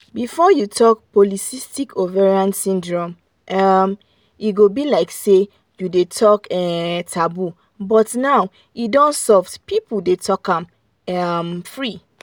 before if you talk pcos um e go be like say you dey talk um taboo but now e don soft people dey talk am um free.